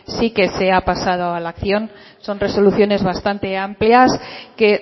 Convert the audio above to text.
sí que se ha pasado a la acción son resoluciones bastante amplias que